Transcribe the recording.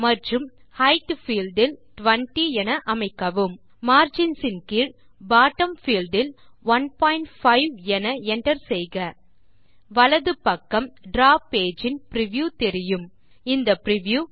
மற்றும் height field இல் 20 அமைக்கவும் மார்ஜின்ஸ் இன் கீழ் பாட்டம் பீல்ட் இல் 15 என என்டர் செய்க வலது பக்கம் டிராவ் பேஜ் இன் பிரிவ்யூ தெரியும் இந்த பிரிவ்யூ